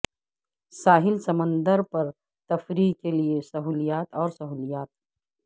ساحل سمندر پر تفریح کے لئے سہولیات اور سہولیات